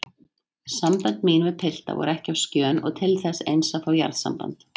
Sambönd mín við pilta voru ekki á skjön og til þess eins að fá jarðsamband.